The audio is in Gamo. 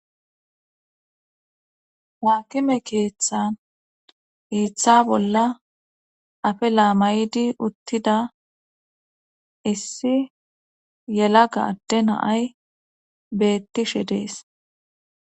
Haakime keeththan hiiththa bolla afella maydi uttida issi yelaga ade na'ay bettishshe dees